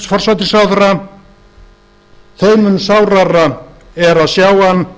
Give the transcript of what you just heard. forsætisráðherra þeim mun sárara er að sjá